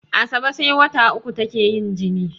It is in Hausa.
Asabe sai wata uku take yin jini